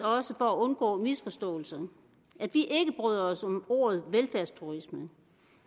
også for at undgå misforståelser at vi ikke bryder os om ordet velfærdsturisme